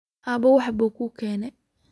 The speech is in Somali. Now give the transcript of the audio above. Aabe waxba kuugene.